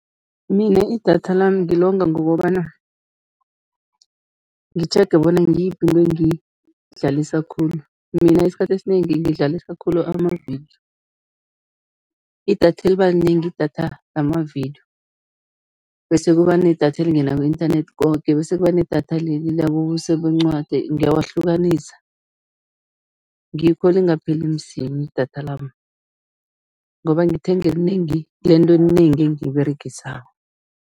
Mina idatha lami ngilonga ngokobana ngitjhege bona ngiyiphi into engiyidlalisa khulu. Mina isikhathi esinengi ngidlalisa khulu amavidiyo, idatha elibalinengi, idatha lamavidiyo bese kuba nedatha elingena ku-internet koke bese kuba nedatha leli labobuso bencwadi, ngiyawuhlukanisa, ngikho lingapheli msinya idatha lami ngoba ngithenga elinengi, lento enengi engiyiberegisako.